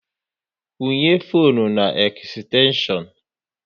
Kwunye fone na ekstenshion